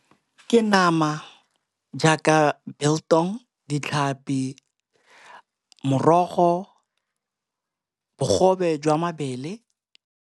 Ke nama jaaka biltong, ditlhapi, morogo, bogobe jwa mabele.